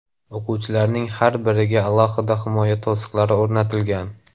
O‘quvchilarning har biriga alohida himoya to‘siqlari o‘rnatilgan.